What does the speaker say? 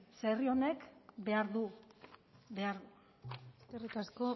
ze herri honek behar du behar du eskerrik asko